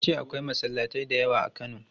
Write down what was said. Ya ce akwai masallatai da yawa a Kano.